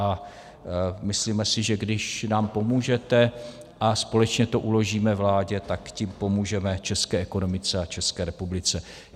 A myslíme si, že když nám pomůžete a společně to uložíme vládě, tak tím pomůžeme české ekonomice a České republice.